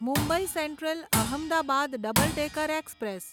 Mumbai Central Ahmedabad double decker express